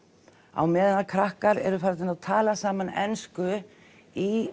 á meðan krakkar eru farnir að tala saman ensku í